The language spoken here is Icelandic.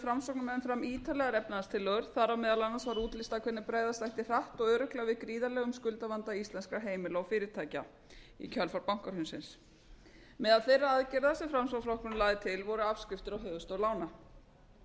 framsóknarmenn fram ítarlegar efnahagstillögur þar á meðal annars var útlistað hvernig bregðast ætti hratt og örugglega við gríðarlegum skuldavanda íslenskra heimila og fyrirtækja í kjölfar bankahrunsins meðal þeirra aðgerða sem framsóknarflokkurinn lagði til voru afskriftir á höfuðstól lána